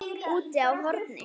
Úti á horni.